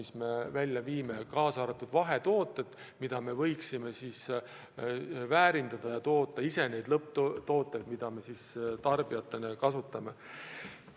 See käib ka vahetoodete kohta: me võiksime neid väärindada ja toota ise lõpptooteid, mida tarbijatena kasutame.